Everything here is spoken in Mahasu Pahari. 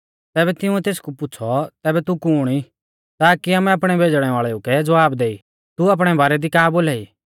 तैबै तिंउऐ तेसकु पुछ़ौ तैबै तू कुण ई ताकी आमै आपणै भेज़णै वाल़ेऊ कै ज़वाब दैऔ तू आपणै बारै दी का बोलाई